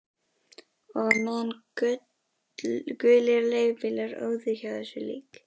Og á meðan gulir leigubílar óðu hjá þessu lík